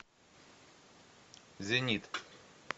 зенит